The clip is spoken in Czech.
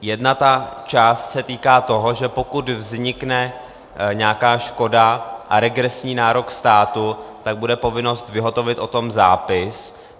Jedna část se týká toho, že pokud vznikne nějaká škoda a regresní nárok státu, tak bude povinnost vyhotovit o tom zápis.